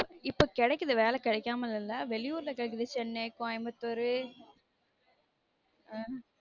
இப்ப கெடைக்குது வேல கெடைக்காம இல்ல வெளியூர்ல கெடைக்குது சென்னை கோயமுத்தூரு